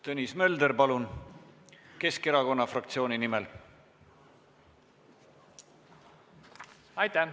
Tõnis Mölder Keskerakonna fraktsiooni nimel, palun!